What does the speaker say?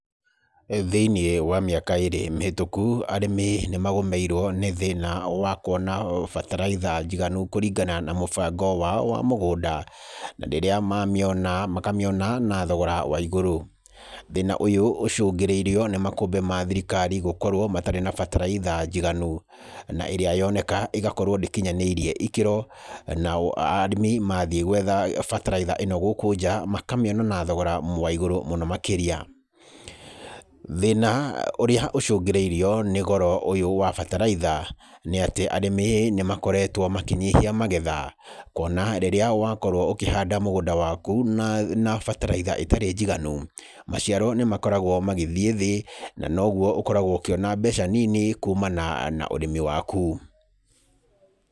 Thĩinĩ wa mĩaka ĩrĩ mĩhĩtũku, arĩmi nĩmagũmĩirwo nĩ thĩna wa kũona bataraitha njĩganu kũringana na mũbango wao wamũgũnda na rĩrĩa mamĩona makamĩona na thogora wa igũrũ, thĩna ũyũ ũcũngĩrĩirwe nĩ makũmbĩ ma thirikari gũkorwo na bataraitha njiganu naĩrĩa yonekaga ĩgakorwo ndĩkinyanĩirwo gĩkĩro na arĩmi mathii kwetha bataraitha ĩno gũkũ nja makamĩona na thogorawa igũrũ mũno makĩria, thĩna ũrĩa ũcũngĩrĩirio nĩ goro ũyũ wa bataraitha, nĩ atĩ arĩmi nĩmakoretwe makĩnyihia magetha kwona rĩrĩa wakorwo ũkĩhanda mũgũnda waku na bataraitha ĩtarĩ njiganu maciaro nĩmakoragwo magĩthĩ thĩ na noguo ũkoragwo ũkĩona mbeca nini kumana na ũrĩmi waku.